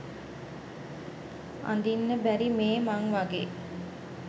අඳින්න බැරි මේ මං වගේ?